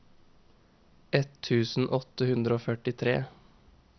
ett tusen åtte hundre og førtitre